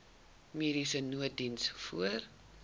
mediese nooddiens voor